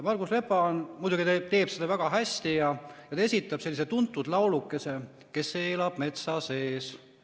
Margus Lepa muidugi teeb seda väga hästi ja ta esitab sellise tuntud laulukese: "Kes elab metsa sees?